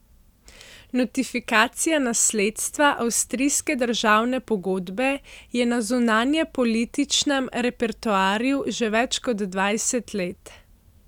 Notifikacija nasledstva avstrijske državne pogodbe je na zunanjepolitičnem repertoarju že več kot dvajset let.